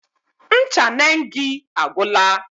Ncha Nengi agwụla.